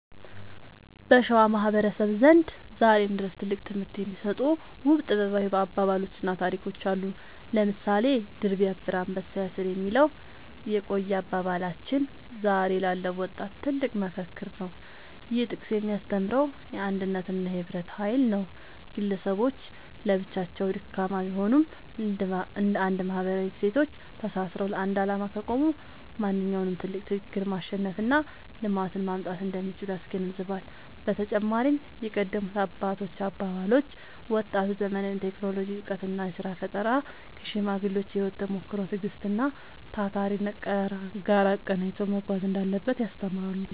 በሸዋ ማህበረሰብ ዘንድ ዛሬም ድረስ ትልቅ ትምህርት የሚሰጡ ውብ ጥበባዊ አባባሎችና ታሪኮች አሉ። ለምሳሌ «ድር ቢያብር አንበሳ ያስር» የሚለው የቆየ አባባላችን ዛሬ ላለው ወጣት ትልቅ መፈክር ነው። ይህ ጥቅስ የሚያስተምረው የአንድነትንና የህብረትን ኃይል ነው። ግለሰቦች ለብቻቸው ደካማ ቢሆኑም፣ እንደ አንድ ማህበራዊ እሴቶች ተሳስረው ለአንድ ዓላማ ከቆሙ ማንኛውንም ትልቅ ችግር ማሸነፍና ልማትን ማምጣት እንደሚችሉ ያስገነዝባል። በተጨማሪም የቀደሙት አባቶች አባባሎች፣ ወጣቱ ዘመናዊውን የቴክኖሎጂ እውቀትና የሥራ ፈጠራ ከሽማግሌዎች የህይወት ተሞክሮ፣ ትዕግስትና ታታሪነት ጋር አቀናጅቶ መጓዝ እንዳለበት ያስተምራሉ።